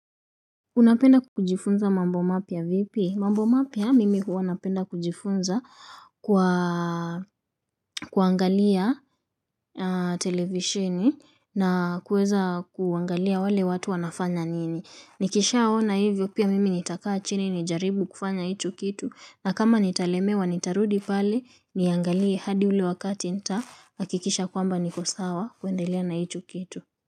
Unapenda kujifunza mambo mapya vipi? Mambo mapya mimi huwa napenda kujifunza kwa kuangalia televisheni na kueza kuangalia wale watu wanafanya nini. Nikishaona hivyo pia mimi nitakaa chini nijaribu kufanya hicho kitu na kama nitalemewa nitarudi pale niangalie hadi ule wakati nitahakikisha kwamba niko sawa kuendelea na hicho kitu.